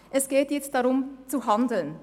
Es geht jetzt darum zu handeln.